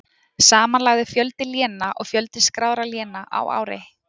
Samanlagður fjöldi léna og fjöldi skráðra léna á ári.